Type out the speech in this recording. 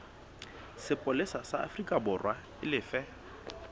sepolesa sa aforikaborwa e lefe